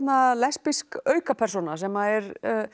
lesbísk aukapersóna sem er